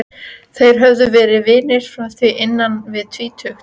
Þeir höfðu verið vinir frá því innan við tvítugt.